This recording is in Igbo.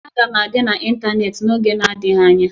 Aga m adị n'ịntanetị n'oge adịghị anya